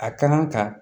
A kan ka